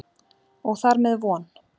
Og þar með von.